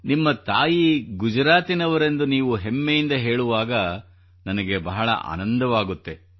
ನಿಮ್ಮ ತಾಯಿ ಗುಜರಾತಿನವರೆಂದು ನೀವು ಹೆಮ್ಮೆಯಿಂದ ಹೇಳುವಾಗ ನನಗೆ ಬಹಳ ಆನಂದವಾಗುತ್ತದೆ